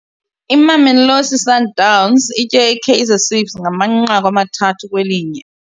Imamelosi Sundowns itye iKaizer Ciefs ngamanqaku amathathu kwelinye.